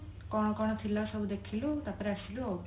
କଣ କଣ ଥିଲା ସବୁ ଦେଖିଲୁ ତାପରେ ଆସିଲୁ ଆଉ